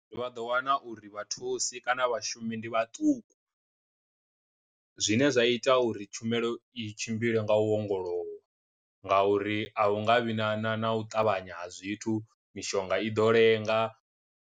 Vha ḓo wana uri vhathusi kana vhashumi ndi vhaṱuku, zwine zwa ita uri tshumelo i tshimbile nga u ongolowa nga uri a hu nga vhi na na na u ṱavhanya ha zwithu mishonga i ḓo lenga.